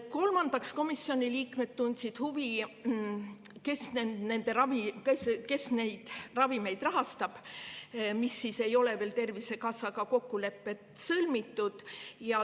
Kolmandaks, komisjoni liikmed tundsid huvi, kes rahastab neid ravimeid, mille kohta ei ole veel Tervisekassal kokkuleppeid sõlmitud.